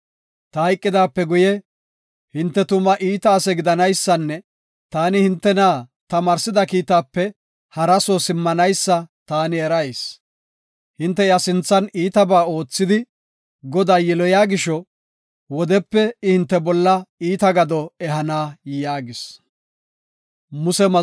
Ta hayqidaape guye, hinte tuma iita ase gidanaysanne taani hintena tamaarsida kiitaape hara soo simmanaysa taani erayis. Hinte iya sinthan iitabaa oothidi, Godaa yiloyiya gisho, wodepe I hinte bolla iita gado ehana” yaagis.